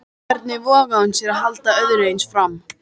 Hvernig vogaði hún sér að halda öðru eins fram?